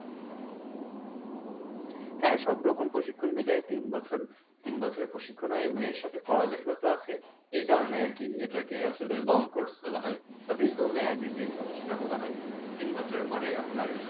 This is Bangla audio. হ্যা সব রকম প্রশিক্ষন মিলায়ে তিন বছর, তিন বছরের প্রশিক্ষণ হয় এবং এর সাথে পড়ালেখাও তো আছে এই কারণে আরকি এটাকে আসলে long course বলা হয় বা দীর্ঘ মেয়াদি যে course সেটা বলা হয় তিন বছর পরে আপনার